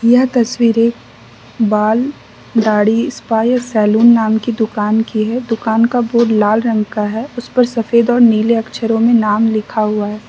यह तस्वीर एक बाल दाढ़ी स्पा या सैलून नाम की दुकान की है दुकान का बोर्ड लाल रंग का है उसपर सफेद और नीले अक्षरों में नाम लिखा हुआ है।